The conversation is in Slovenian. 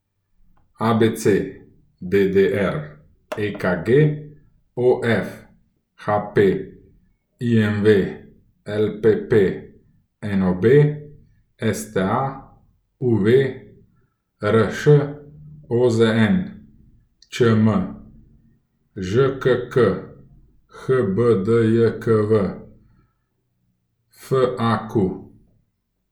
ABC, DDR, EKG, OF, HP, IMV, LPP, NOB, STA, UV, RŠ, OZN, ČM, ŽKK, HBDJKV, FAQ.